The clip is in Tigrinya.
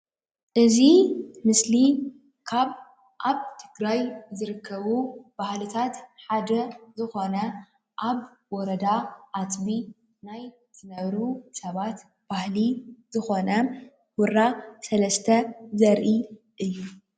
እዚ ምስሊ ካብ ኣብ ትግራይ ዝርከቡ ባህልታት ሓደ ዝኾነ ኣብ ወረዳ ኣፅቢ ናይ ዝነብሩ ሰባት ባህሊ ዝኾነ ሁራ ሰለስተ ዘርኢ እዩ።